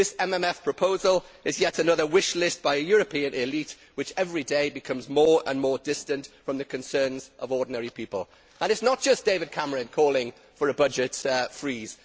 This MMF proposal is yet another wish list by a European elite that everyday becomes more and more distant from the concerns of ordinary people. And it is not just David Cameron calling for a budget freeze